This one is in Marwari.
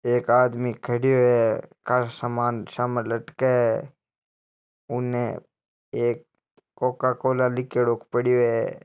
एक आदमी खड़यो है काशा सामान सामे लटके उन्हें एक कोकाकोला लिख्योड़ो पड़यो है।